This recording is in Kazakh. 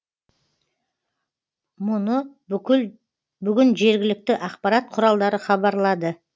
мұны бүгін жергілікті ақпарат құралдары хабарлады